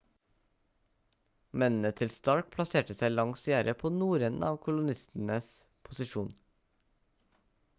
mennene til stark plasserte seg langs gjerdet på nordenden av kolonistenes posisjon